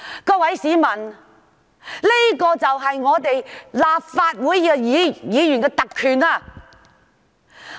各位市民，這就是立法會議員的特權。